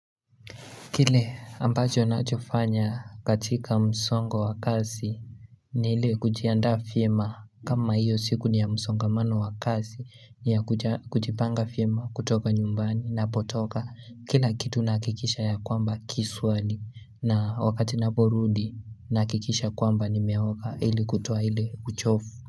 Kile ambajo nachofanya katika msongo wakazi ni hile kujianda fiema kama hiyo siku ni ya msongamano wakazi ni ya kujipanga fiema kutoka nyumbani na potoka kila kitu nakikisha ya kwamba kiswali na wakati naporudi nakikisha kwamba ni meoka ili kutowa hile uchofu.